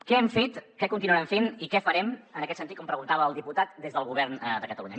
què hem fet què continuarem fent i què farem en aquest sentit com preguntava el diputat des del govern de catalunya